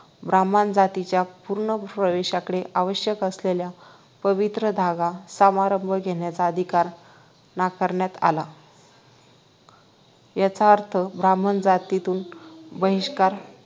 ब्राम्हण जातीच्या पूर्ण प्रवेशासाठी आवश्यक असलेल्या पवित्र धागा समारंभ घेण्याचा अधिकार नाकारण्यात आला याचा अर्थ ब्राम्हण जातीतून बहिष्कार